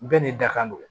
Bɛɛ n'i da ka nɛgɛ